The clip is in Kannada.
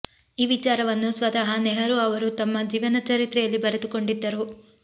ಈ ವಿಚಾರವನ್ನು ಸ್ವತಃ ನೆಹರೂ ಅವರು ತಮ್ಮ ಜೀವನ ಚರಿತ್ರೆಯಲ್ಲಿ ಬರೆದುಕೊಂಡಿದ್ದರು